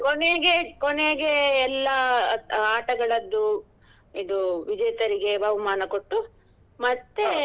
ಕೊನೆಗೆ ಕೊನೆಗೆ ಎಲ್ಲ ಆಟಗಳದ್ದು ಇದು ವಿಜೇತರಿಗೆ ಬಹುಮಾನ ಕೊಟ್ಟು .